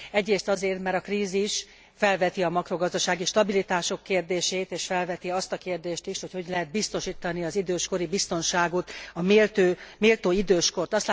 Egyrészt azért, mert a krízis felveti a makrogazdasági stabilitás kérdését és felveti azt a kérdést is, hogy hogy lehet biztosítani az időskori biztonságot, a méltó időskort.